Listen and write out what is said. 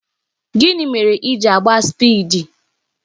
Gịnị mere i ji na-agba spịdi?